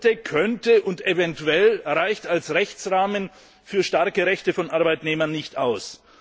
Sollte, könnte und eventuell reicht als Rechtsrahmen für starke Rechte von Arbeitnehmern nicht aus.